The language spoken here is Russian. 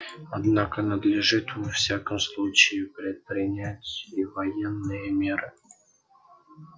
однако надлежит во всяком случае предпринять и военные меры